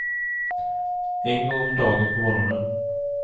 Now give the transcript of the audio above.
En gång om dagen på morgonen.